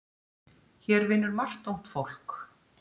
Hér vinnur margt ungt fólk.